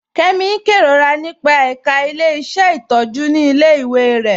Kẹmi n kẹrorà nípa ẹká ilẹ̀-iṣẹ́ ntọjú ni ilẹ̀-iwé rẹ.